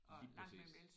Lige præcis